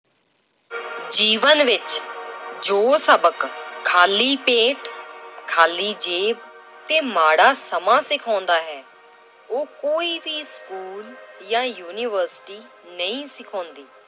ਜੀਵਨ ਵਿੱਚ ਜੋ ਸਬਕ ਖਾਲੀ ਪੇਟ ਖਾਲੀ ਜੇਬ ਤੇ ਮਾੜਾ ਸਮਾਂ ਸਿਖਾਉਂਦਾ ਹੈ ਉਹ ਕੋਈ ਵੀ school ਜਾਂ university ਨਹੀਂ ਸਿਖਾਉਂਦੀ।